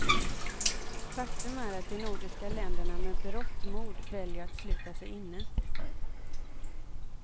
Faktum är att de nordiska länderna med berått mod väljer att sluta sig inne.